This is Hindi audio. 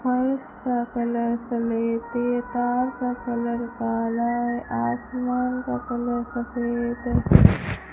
फर्श का कलर सलेटी है तार का कलर काला है आसमान का कलर सफेद है।